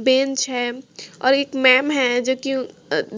bench है और एक मैम है जोकि